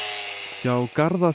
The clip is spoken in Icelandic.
hjá